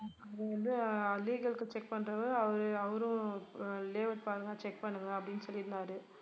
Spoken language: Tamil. அது வந்து legal க்கு check பண்றவரு அவரு~ அவரும் layout பாருங்க check பண்ணுங்க அப்படின்னு சொல்லிருந்தாரு